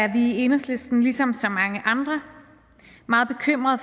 i enhedslisten ligesom så mange andre meget bekymrede